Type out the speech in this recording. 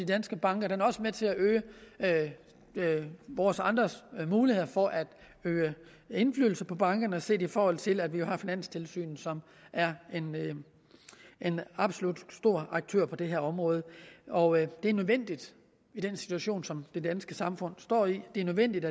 danske banker det er også med til at øge vores andres muligheder for at øve indflydelse på bankerne set i forhold til at vi jo har finanstilsynet som er en absolut stor aktør på det her område og det er nødvendigt i den situation som det danske samfund står i det er nødvendigt